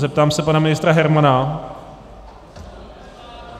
Zeptám se pana ministra Hermana...